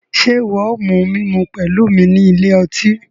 Ṣe iwọ o mu mímú pẹlu mí ní ilé ọtí?